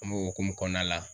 An b'o hokumu kɔɔna la.